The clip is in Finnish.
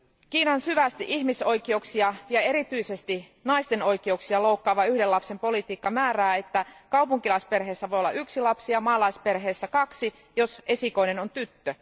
Kiinan syvästi ihmisoikeuksia, ja erityisesti naisten oikeuksia, loukkaava yhden lapsen politiikka määrää, että kaupunkilaisperheissä voi olla yksi lapsi ja maalaisperheissä kaksi, jos esikoinen on tyttö.